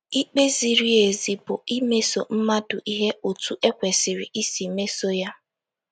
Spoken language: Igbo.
Ikpe ziri ezi bụ imeso mmadụ ihe otú e kwesịrị isi mesoo ya.